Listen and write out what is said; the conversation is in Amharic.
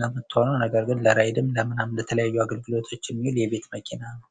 ነው የምትሆነው ፤ ነገር ግን ለራይድም ለተለያዩ አገልግሎቶች የሚውል የቤት መኪና ነች።